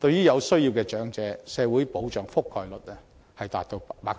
對於有需要的長者，社會保障的覆蓋率達到 74%，